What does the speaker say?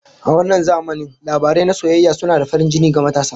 A wannan zamanin, labarai na soyayya suna da farin jini ga matasa